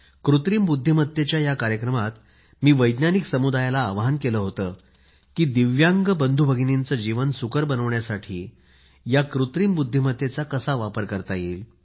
कृत्रिम बुद्दीमत्तेच्या या कार्यक्रमात मी वैज्ञानिक समुदायाला आवाहन केलं होतं की दिव्यांग बंधुभगिनींचे जीवन सुकर बनवण्यासाठी कृत्रिम बुद्धिमत्तेचा कसा वापर करता येईल